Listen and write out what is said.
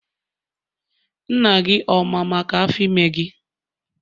Nna gị ọ ma maka Afọ ime gị?